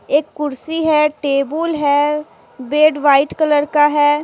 एक कुर्सी है टेबुल है बेड व्हाइट कलर का है।